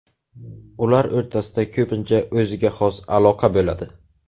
Ular o‘rtasida ko‘pincha o‘ziga xos aloqa bo‘ladi.